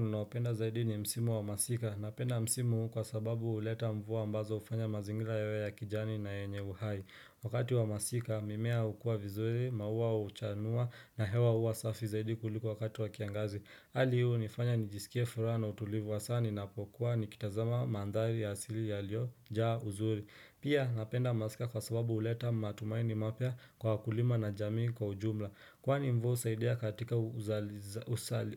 Ninaoupenda zaidi ni msimu wa masika Napenda msimu huu kwa sababu huleta mvua ambazo hufanya mazingira yawe ya kijani na yenye uhai Wakati wa masika mimea hukua vizuri, maua huchanua na hewa huwa safi zaidi kuliko wakati wa kiangazi Hali hii hunifanya nijisikea furaha na utulivu hasa ninapokuwa ni kitazama mandhari ya asili yaliyojaa uzuri Pia napenda masika kwa sababu huleta matumaini mapya kwa wakulima na jamii kwa ujumla Kwani mvuu husaidia katika